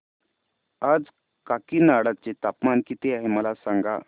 आज काकीनाडा चे तापमान किती आहे मला सांगा